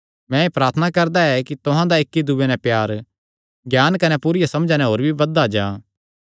मैं एह़ प्रार्थना करदा ऐ कि तुहां दा इक्की दूये नैं प्यार ज्ञान कने पूरिया समझा नैं होर भी बधदा जां